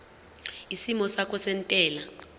isimo sakho sezentela